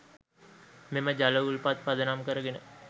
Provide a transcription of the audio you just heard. මෙම ජල උල්පත් පදනම් කරගෙන